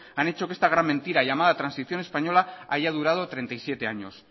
han hecho que esta gran mentira llamada transición española haya durado treinta y siete años